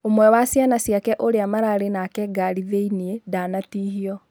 ũmwe wa ciana ciake ũria maraarĩ nake ngari thĩinĩ, ndanatihio